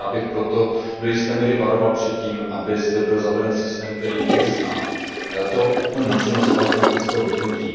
A já bych proto do jisté míry varoval před tím, aby zde byl zaveden systém, který nezná možnost automatického vypnutí.